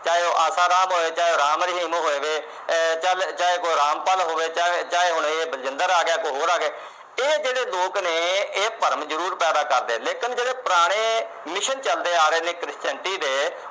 ਚਾਹੇ ਉਹ ਆਸਾ ਰਾਮ ਹੋਵੇ, ਚਾਹੇ ਉਹ ਰਾਮ ਰਹੀਮ ਹੋਵੇ। ਆਹ ਚਾਹੇ ਕੋਈ ਰਾਮਪਾਲ ਹੋਵੇ, ਚਾਹੇ ਹੁਣ ਇਹ ਬਲਜਿੰਦਰ ਆ ਗਿਆ। ਇਕ ਹੋਰ ਆ ਗਿਆ। ਇਹ ਜਿਹੜੇ ਲੋਕ ਨੇ, ਇਹ ਭਰਮ ਜਰੂਰ ਪੈਦਾ ਕਰਦੇ ਨੇ। ਲੇਕਿਨ ਜਿਹੜੇ ਪੁਰਾਣੇ mission ਚੱਲਦੇ ਆ ਰਹੇ ਨੇ christianity ਦੇ।